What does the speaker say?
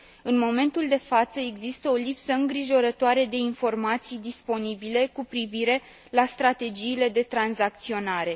În momentul de față există o lipsă îngrijorătoare de informații disponibile cu privire la strategiile de tranzacționare.